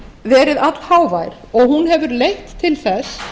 verið allhávær og hún hefur leitt til þess